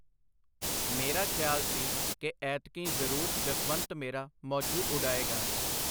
ਮੇਰਾ ਖਿਆਲ ਸੀ ਕਿ ਐਤਕੀਂ ਜ਼ਰੂਰ ਜਸਵੰਤ ਮੇਰਾ ਮੌਜੂ ਉਡਾਏਗਾ.